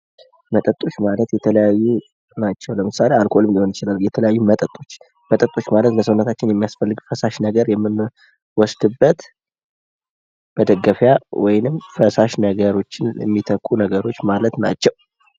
መጠጦች ማለት የተለያዩ ናቸው ፤ ለምሳሌ አልኮልም ሊሆን ይችላል። የተለያዩ መጣጥፎች መጣጥፎች ማለት ሰውነታችን የሚያስፈልግ ፈሳሽ ነገር የምንወስድበት መደገፊያ ወይንም ፈሳሽ ነገሮችን የሚተኩ ነገሮች ማለት ናቸው።